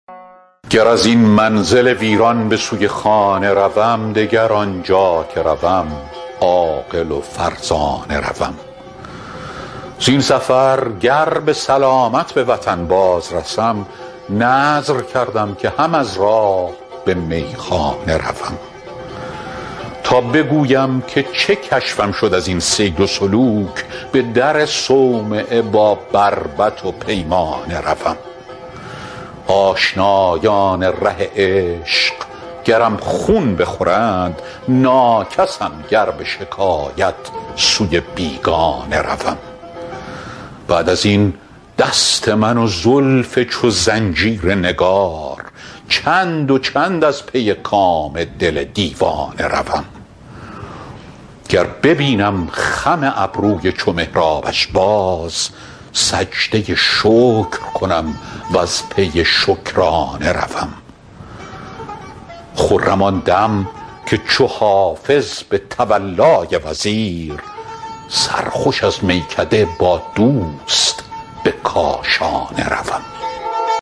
گر از این منزل ویران به سوی خانه روم دگر آنجا که روم عاقل و فرزانه روم زین سفر گر به سلامت به وطن باز رسم نذر کردم که هم از راه به میخانه روم تا بگویم که چه کشفم شد از این سیر و سلوک به در صومعه با بربط و پیمانه روم آشنایان ره عشق گرم خون بخورند ناکسم گر به شکایت سوی بیگانه روم بعد از این دست من و زلف چو زنجیر نگار چند و چند از پی کام دل دیوانه روم گر ببینم خم ابروی چو محرابش باز سجده شکر کنم و از پی شکرانه روم خرم آن دم که چو حافظ به تولای وزیر سرخوش از میکده با دوست به کاشانه روم